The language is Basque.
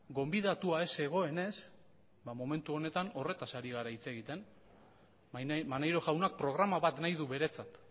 gonbidatua ez zegoenez ba momentu honetan horretaz ari gara hitz egiten maneiro jaunak programa bat nahi du beretzat